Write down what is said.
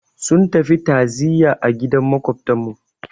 Sun tafi ta'ziyya a gidan Maƙwabtarmu.